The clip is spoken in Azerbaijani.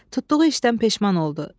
Tutduğu işdən peşman oldu.